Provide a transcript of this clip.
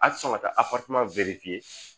A tɛ sɔn ka taa